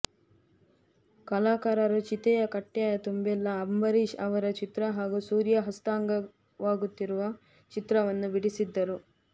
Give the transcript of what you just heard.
ಕಲಾಕಾರರು ಚಿತೆಯ ಕಟ್ಟೆಯ ತುಂಬೆಲ್ಲ ಅಂಬರೀಷ್ ಅವರ ಚಿತ್ರ ಹಾಗೂ ಸೂರ್ಯ ಹಸ್ತಂಗತವಾಗುತ್ತಿರುವ ಚಿತ್ರವನ್ನು ಬಿಡಿಸಿದ್ದರು